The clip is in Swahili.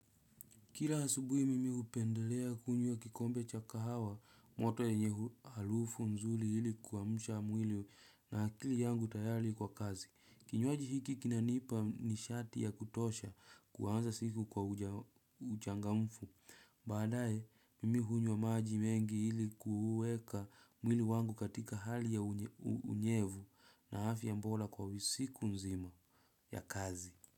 Kila asubuhi mimi hupendelea kunywa kikombe cha kahawa moto yenye harufu nzuri ili kuamsha mwili na akili yangu tayari kwa kazi. Kinywaji hiki kinanipa nishati ya kutosha kuanza siku kwa uchangamfu. Baadaye mimi hunywa maji mengi ili kuweka mwili wangu katika hali ya unyevu na afya bora kwa siku nzima ya kazi.